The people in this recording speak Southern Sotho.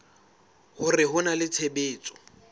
hore ho na le tshebetso